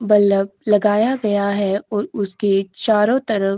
बल्लभ लगाया गया है ओर उसके चारों तरफ --